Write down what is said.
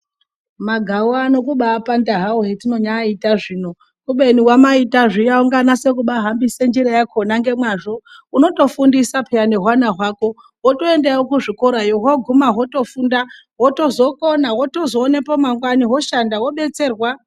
Magawu ano kumbaapanda hawo hetinonyaaita zvino, kubeni wamaita zviya ukanganatsa kubahambisa njira yakhona ngemazvo, unotofundisa pheya nehwana hwako wotoendawo kuzvikoroyo. Hwoguma hwotofunda hwotozokona wozotoonepo mangwana hwoshanda wodetserwa.